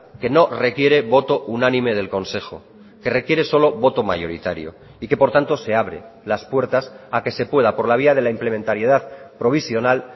que no requiere voto unánime del consejo que requiere solo voto mayoritario y que por tanto se abre las puertas a que se pueda por la vía de la implementariedad provisional